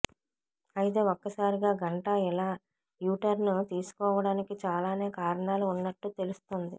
అయితే ఒక్కసారిగా గంటా ఇలా యూటర్న్ తీసుకోవడానికి చాలానే కారణాలు ఉన్నట్టు తెలుస్తుంది